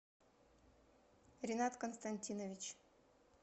ринат константинович